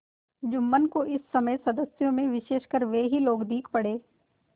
जुम्मन को इस समय सदस्यों में विशेषकर वे ही लोग दीख पड़े